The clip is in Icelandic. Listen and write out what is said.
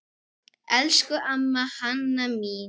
Elsku amma Hanna mín.